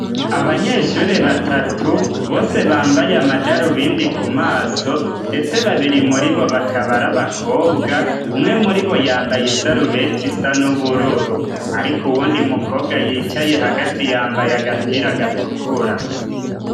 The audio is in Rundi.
Abanyeshure batatu, bose bambaye amadarubindi ku maso, ndetse babiri muri bo bakaba ari abakobwa, umwe muri bo yambaye isarubeti isa n'ubururu. Ariko uwundi mukobwa yicaye hagati yambaye agapira gatukura.